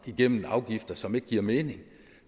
igennem afgifter som ikke giver mening